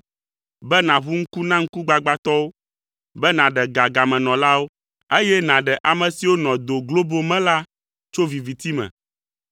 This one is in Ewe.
be nàʋu ŋku na ŋkugbagbãtɔwo, be nàɖe ga gamenɔlawo, eye nàɖe ame siwo nɔ do globo me la tso viviti me.